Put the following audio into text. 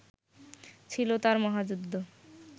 ছিল তাঁর মহাযুদ্ধ